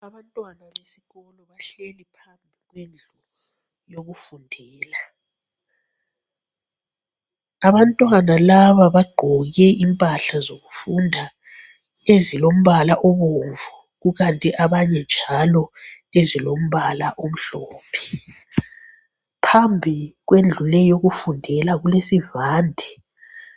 Abantwana besikolo bahleli phansi kwendlu yokufundela. Abantwana laba bagqoke impahla zokufunda ezilombala obomvu. Kukanti abanye njalo ezilombala omhlophe. Phambi kwendlu leyi yokufundela kulesivande.